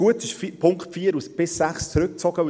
Gut ist, dass die Punkte 4–6 zurückgezogen wurden.